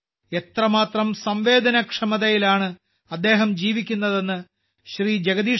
എന്നാൽ എത്രമാത്രം സംവേദനക്ഷമതയിലാണ് അദ്ദേഹം ജീവിക്കുന്നതെന്ന് ശ്രീ